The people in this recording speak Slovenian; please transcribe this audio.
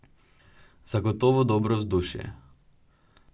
Zagotovo dobro vzdušje.